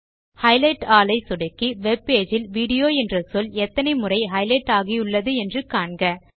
highlight all ஐ சொடுக்கி webpage இல் வீடியோ என்ற சொல் எத்தனை முறை ஹைலைட் ஆகியுள்ளது என்று காண்க